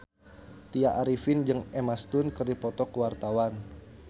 Tya Arifin jeung Emma Stone keur dipoto ku wartawan